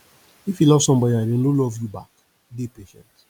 if you love somebody and dem no love you back dey patient